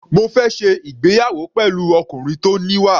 Mo fẹ́ ṣe ìgbéyàwó pẹ̀lú ọkùnrin tó níwà.